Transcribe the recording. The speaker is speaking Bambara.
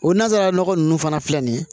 O nanzara nɔgɔ ninnu fana filɛ nin ye